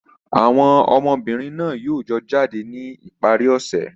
Àwọn ọmọbìnrin náà yóò jọ jáde ní ìparí ọ̀sẹ̀.